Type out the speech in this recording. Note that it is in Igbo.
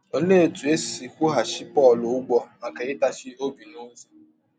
Ọlee ọtụ e si kwụghachi Pọl ụgwọ maka ịtachi ọbi n’ọzi?